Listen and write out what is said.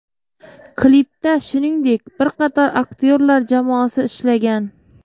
Klipda shuningdek, bir qator aktyorlar jamoasi ishlagan.